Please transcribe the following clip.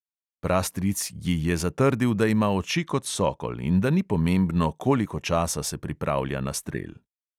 Prastric ji je zatrdil, da ima oči kot sokol in da ni pomembno, koliko časa se pripravlja na strel.